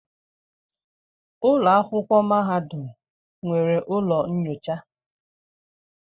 Ụlọ akwụkwọ mahadum nwere ụlọ nyocha.